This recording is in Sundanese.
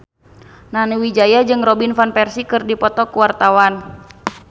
Nani Wijaya jeung Robin Van Persie keur dipoto ku wartawan